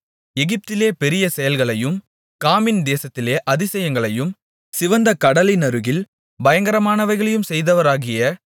எகிப்திலே பெரிய செயல்களையும் காமின் தேசத்திலே அதிசயங்களையும் சிவந்த கடலினருகில் பயங்கரமானவைகளையும் செய்தவராகிய